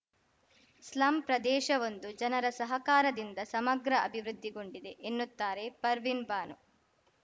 slum ಪ್ರದೇಶವೊಂದು ಜನರ ಸಹಕಾರದಿಂದ ಸಮಗ್ರ ಅಭಿವೃದ್ಧಿಗೊಂಡಿದೆ ಎನ್ನುತ್ತಾರೆ ಪರ್ವಿನ್‌ಬಾನು